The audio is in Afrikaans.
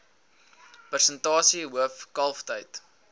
persentasie hoof kalftyd